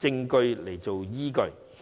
證據作依據。